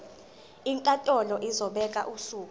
inkantolo izobeka usuku